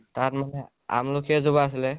তাত মানে আমলখি এজোপা আছিলে